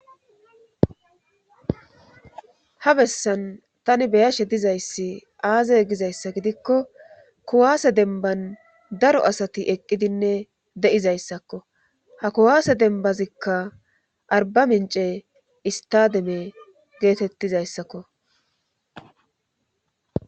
Ha bessan tani beyashe dizayssi aaze gizayssa gidikko kuwaase demban daro asati eqqidinne de'izayssakko ha kuwaase denbazikka arba mince istademe geetettizayssakko.